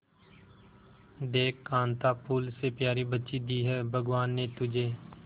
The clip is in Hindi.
देख कांता फूल से प्यारी बच्ची दी है भगवान ने तुझे